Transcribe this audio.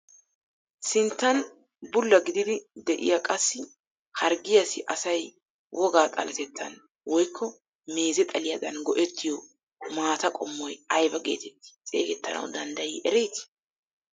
sinttan bulla gididi de'iyaa qassi harggiyaassi asay wogaa xalettaan woykko meeze xaliyaadan go"ettiyoo maata qommoy ayba getetti xeegettanawu danddayii eretii?